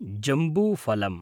जम्बूफलम्